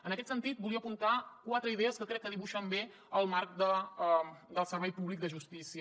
en aquest sentit volia apuntar quatre idees que crec que dibuixen bé el marc del servei públic de justícia